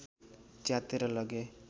च्यातेर लगे